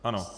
Ano.